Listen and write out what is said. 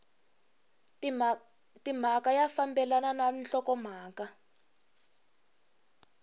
timhaka ya fambelana na nhlokomhaka